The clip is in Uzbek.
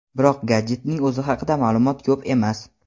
Biroq, gadjetning o‘zi haqida ma’lumot ko‘p emas.